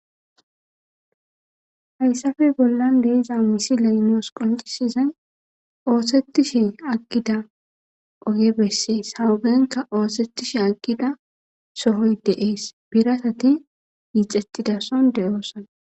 Hayssafe bollan deeza misi leynoos qoncisizay oosetishe aggida oge bessees hagenka oosetishe aggida sohoy deees biratati yiixettidason de'oosana